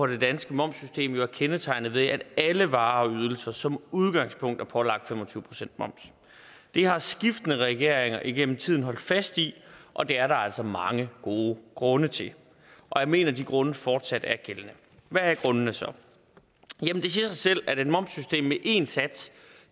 det danske momssystem jo er kendetegnet ved at alle varer og ydelser som udgangspunkt er pålagt fem og tyve procent moms det har skiftende regeringer igennem tiden holdt fast ved og det er der altså mange gode grunde til og jeg mener at de grunde fortsat er gældende hvad er grundene så det siger sig selv at et momssystem med én sats